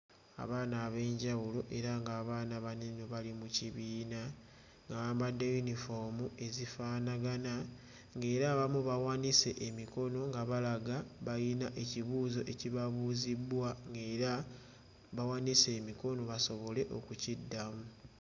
Abaana ab'enjawulo era ng'abaana bano eno bali mu kibiina nga bambadde yunifoomu ezifaanagana ng'era abamu bawanise emikono nga balaga bayina ekibuuzo ekibabuuzibbwa ng'era bawanise emikono basobole okukiddamu.